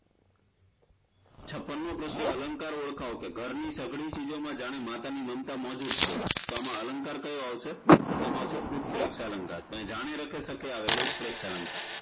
છપ્પનમો પ્રશ્ન અલંકાર ઓળખાવો કે ઘરની સઘળી ચીજો માં જાણે માતાની મમતા મોજૂદ છે તો આમાં અલંકાર કયો આવશે તો તેમા આવશે ઉતપ્રેક્ષ અલંકાર જાણે રખે સખે આવે એટલે ઉતપ્રેક્ષ અલંકાર